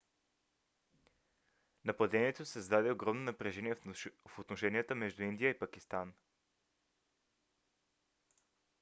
нападението създаде огромно напрежение в отношенията между индия и пакистан